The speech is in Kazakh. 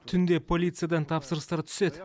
түнде полициядан тапсырыстар түседі